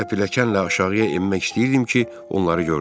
Mən elə pilləkənlə aşağıya enmək istəyirdim ki, onları gördüm.